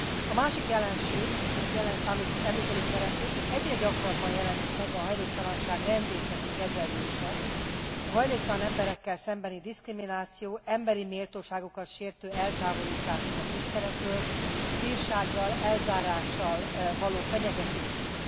A másik jelenség, amit említeni szeretnék, hogy egyre gyakrabban jelenik meg a hajléktalanság rendészeti kezelése a hajléktalan emberekkel szembeni diszkrimináció, emberi méltóságukat sértő eltávolításuk a közterületekről, bírsággal, elzárással való fenyegetésük.